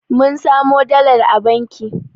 Mun samo dalar a banki